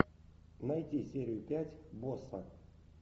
найти серию пять босса